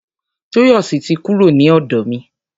Tóyọ̀sí ti kúrò ni ọ̀dọ̀ mi.